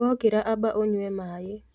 Wokĩra amba ũyue maaĩ